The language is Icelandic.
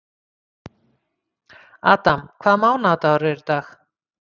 Adam, hvaða mánaðardagur er í dag?